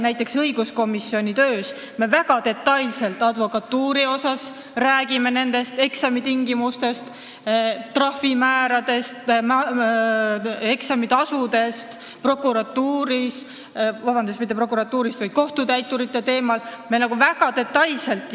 Näiteks, õiguskomisjonis me räägime advokatuuri puhul väga detailselt eksamitingimustest, trahvimääradest, eksamitasudest, rääkisime kohtutäiturite teemal väga detailselt.